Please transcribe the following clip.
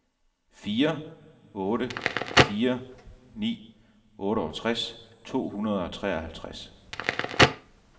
fire otte fire ni otteogtres to hundrede og treoghalvtreds